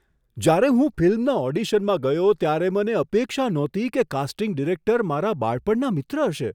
જ્યારે હું ફિલ્મના ઓડિશનમાં ગયો ત્યારે મને અપેક્ષા નહોતી કે કાસ્ટિંગ ડિરેક્ટર મારા બાળપણના મિત્ર હશે.